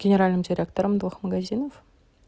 генеральным директором двух магазинов